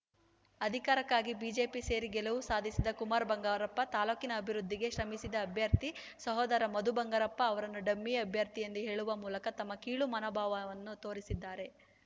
ಅಧಿಕಾರಕ್ಕಾಗಿ ಬಿಜೆಪಿ ಸೇರಿ ಗೆಲುವು ಸಾಧಿಸಿದ ಕುಮಾರ್‌ ಬಂಗಾರಪ್ಪ ತಾಲೂಕಿನ ಅಭಿವೃದ್ಧಿಗೆ ಶ್ರಮಿಸಿದ ಅಭ್ಯರ್ಥಿ ಸಹೋದರ ಮಧು ಬಂಗಾರಪ್ಪ ಅವರನ್ನು ಡಮ್ಮಿ ಅಭ್ಯರ್ಥಿ ಎಂದು ಹೇಳುವ ಮೂಲಕ ತಮ್ಮ ಕೀಳು ಮನೋಭಾವವನ್ನು ತೋರಿಸಿದ್ದಾರೆ